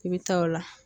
I bɛ taa o la